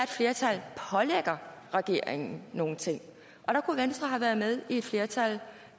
flertal pålægger regeringen nogle ting og der kunne venstre have været med i et flertal